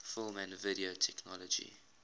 film and video technology